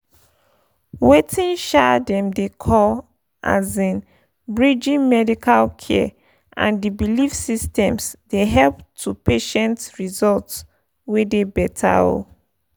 weting um dem dey call pause— um bridging pause medical care and the belief systems dey lead to patient results wey dey better. um